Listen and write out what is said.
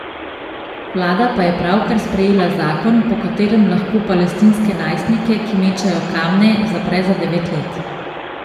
Vlada pa je pravkar sprejela zakon, po katerem lahko palestinske najstnike, ki mečejo kamne, zapre za devet let.